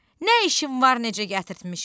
Nə işim var necə gətirtmişəm?